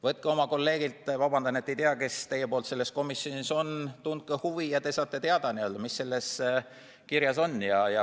Küsige oma kolleegilt – ma vabandan, et ei tea, kes teie poolt selles komisjonis on –, tundke huvi, ja te saate teada, mis selles deklaratsioonis kirjas on.